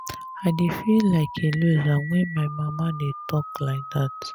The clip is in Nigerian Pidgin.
i dey feel like a loser wen my mama dey talk like dat